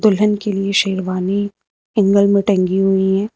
दुल्हन के लिए शेरवानी एंगल में टंगी हुई हैं।